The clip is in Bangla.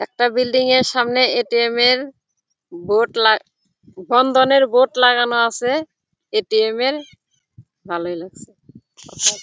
একটা বিল্ডিং -এর সামনে এ.টি.এম. -এর বোর্ড লাগ বন্ধনের বোর্ড লাগানো আছে। এ.টি.এম -এর ভালই লাগছে ।